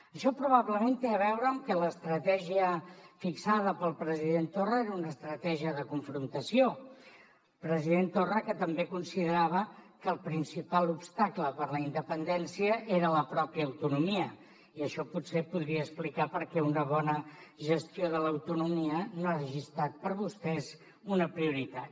això probablement té a veure amb que l’estratègia fixada pel president torra era una estratègia de confrontació el president torra que també considerava que el principal obstacle per a la independència era la mateixa autonomia i això potser podria explicar per què una bona gestió de l’autonomia no hagi estat per a vostès una prioritat